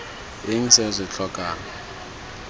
eng se o se tlhokang